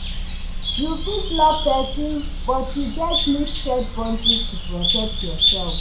You fit love pesin, but you gats need set boundaries to protect yourself.